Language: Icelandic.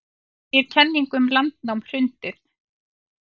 Segir kenningum um landnám hrundið